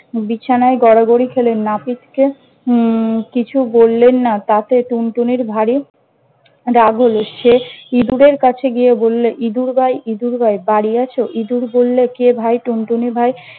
বিছানায় গড়াগড়ি খেলেন নাপিতকে উম কিছু বললেন না, তাতে টুনটুনির ভারি রাগ হল। সে ইঁদুরের কাছে গিয়ে বললে- ইদুর ভাই ইদুর ভাই বাড়ি আছ? ইদুর বললে- কে ভাই টুনটুনি ভাই?